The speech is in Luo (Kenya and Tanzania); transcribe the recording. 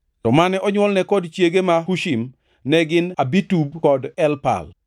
To mane onywolne kod chiege ma Hushim, ne gin Abitub kod Elpal.